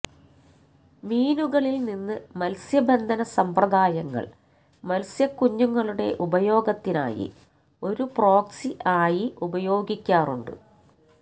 മീനുകളിൽ നിന്ന് മത്സ്യബന്ധന സമ്പ്രദായങ്ങൾ മത്സ്യക്കുഞ്ഞുങ്ങളുടെ ഉപയോഗത്തിനായി ഒരു പ്രോക്സി ആയി ഉപയോഗിക്കാറുണ്ട്